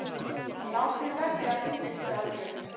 Látið verði af innheimtuaðgerðum